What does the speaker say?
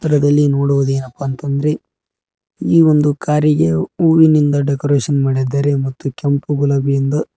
ಅರಡಲಿ ನೋಡುವುದೇನಪ್ಪಾ ಅಂತ ಅಂದ್ರೆ ಈ ಒಂದು ಕಾರಿಗೆ ಹೂವಿನಿಂದ ಡೆಕೋರೇಷನ್ ಮಾಡಿದ್ದಾರೆ ಮತ್ತು ಕೆಂಪು ಗುಲಾಬಿಯಿಂದ--